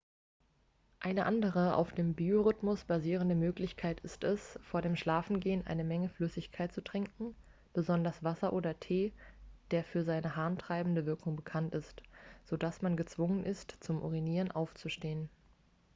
eine andere auf dem biorhythmus basierende möglichkeit ist es vor dem schlafengehen eine menge flüssigkeit zu trinken besonders wasser oder tee der für seine harntreibende wirkung bekannt ist sodass man gezwungen ist zum urinieren aufzustehen